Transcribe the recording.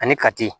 Ani kati